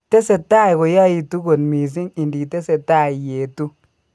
Tese tai koyaitu kot mising inditese tai iyetu.